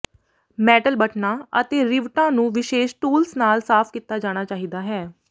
metal ਬਟਨਾਂ ਅਤੇ ਰਿਵਟਾਂ ਨੂੰ ਵਿਸ਼ੇਸ਼ ਟੂਲਸ ਨਾਲ ਸਾਫ਼ ਕੀਤਾ ਜਾਣਾ ਚਾਹੀਦਾ ਹੈ